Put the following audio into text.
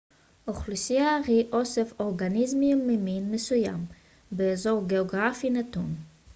אוכלוסייה היא אוסף אורגניזמים ממין מסוים באזור גאוגרפי נתון